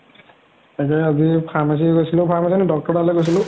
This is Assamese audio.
তাৰ পিছত আজি pharmacy গৈছিলো pharmacy নহয় doctor ৰ তা লৈ গৈছিলো